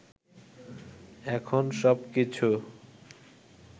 এখন সবকিছু